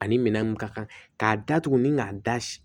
Ani minɛn mun ka kan k'a datugu ni k'a da si